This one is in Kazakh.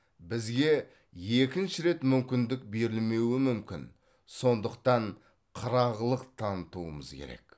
бізге екінші рет мүмкіндік берілмеуі мүмкін сондықтан қырағылық танытуымыз керек